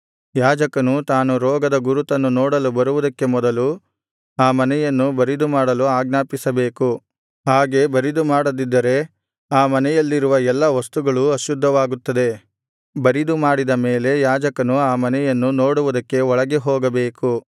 ಯಾಜಕನು ತಾನು ಆ ರೋಗದ ಗುರುತನ್ನು ನೋಡಲು ಬರುವುದಕ್ಕೆ ಮೊದಲು ಆ ಮನೆಯನ್ನು ಬರಿದುಮಾಡಲು ಆಜ್ಞಾಪಿಸಬೇಕು ಹಾಗೆ ಬರಿದುಮಾಡದಿದ್ದರೆ ಆ ಮನೆಯಲ್ಲಿರುವ ಎಲ್ಲಾ ವಸ್ತುಗಳೂ ಅಶುದ್ಧವಾಗುತ್ತದೆ ಬರಿದುಮಾಡಿದ ಮೇಲೆ ಯಾಜಕನು ಆ ಮನೆಯನ್ನು ನೋಡುವುದಕ್ಕೆ ಒಳಗೆ ಹೋಗಬೇಕು